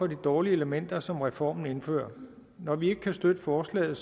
dårlige elementer som reformen indfører når vi ikke kan støtte forslaget